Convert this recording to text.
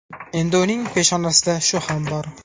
Endi uning peshonasida shu ham bor.